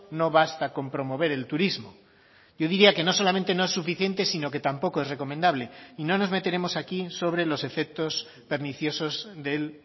no basta con promover el turismo yo diría que no solamente no es suficiente sino que tampoco es recomendable y no nos meteremos aquí sobre los efectos perniciosos del